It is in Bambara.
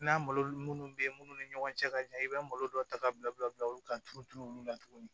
N'a malo munnu bɛ munnu ni ɲɔgɔncɛ ka jan i bɛ malo dɔw ta ka bila u bɛ bila bila olu ka turuturu olu la tuguni